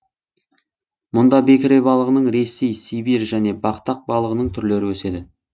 мұнда бекіре балығының ресей сибирь және бақтақ балығының түрлері өседі